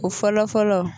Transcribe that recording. O fɔlɔ fɔlɔ